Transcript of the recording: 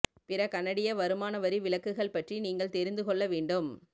பிற கனடிய வருமான வரி விலக்குகள் பற்றி நீங்கள் தெரிந்து கொள்ள வேண்டும்